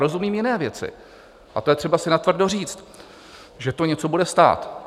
Rozumím jiné věci a to je třeba si natvrdo říct, že to něco bude stát.